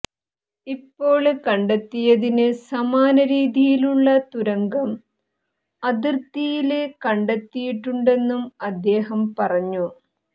ഇപ്പോള് കണ്ടെത്തിയതിന് സമാനരീതിയിലുള്ള തുരങ്കം അതിര്ത്തിയില് കണ്ടെത്തിയിട്ടുണ്ടെന്നും അദ്ദേഹം പറഞ്ഞു